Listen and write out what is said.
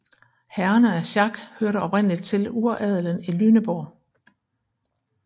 Herrerne af Schack hørte oprindeligt til uradelen i Lüneburg